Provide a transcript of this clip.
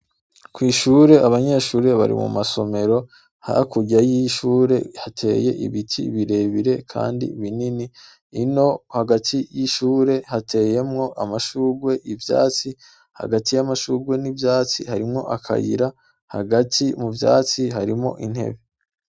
Kw'ishure abanyeshuri bari mu masomero hakurya y'ishure hateye ibiti birebire, kandi binini ino hagati y'ishure hateyemwo amashurwe ivyatsi hagati y'amashurwe n'ivyatsi harimwo akayira hagati mu vyatsi harimo intebe.